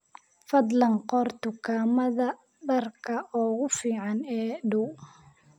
fadlan qor dukaamada dharka ugu fiican ee ii dhow